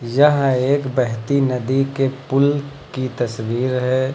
यह एक बहती नदी के पुल की तस्वीर है।